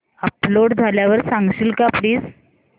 upload झाल्यावर सांगशील का प्लीज